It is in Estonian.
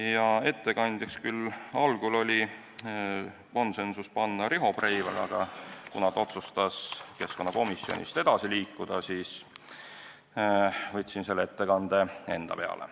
Algul otsustati konsensuslikult panna ettekandjaks Riho Breivel, aga kuna ta otsustas keskkonnakomisjonist edasi liikuda, siis ma võtsin selle ettekande enda peale.